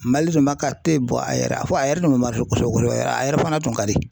Mali dun m'a k'a te bɔ a yɛrɛ a fɔ a yɛrɛ a fɔ a yɛrɛ tun mɛ kosɛbɛ kosɛbɛ a yɛrɛɛ fana tun ka di.